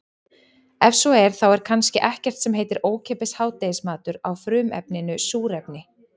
Ef svo er þá er kannski ekkert sem heitir ókeypis hádegismatur á frumefninu súrefni.